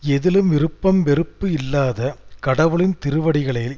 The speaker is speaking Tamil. எதிலும் விருப்பம் வெறுப்பு இல்லாத கடவுளின் திருவடிகளை